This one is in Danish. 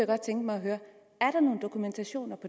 godt tænke mig at høre er der nogen dokumentation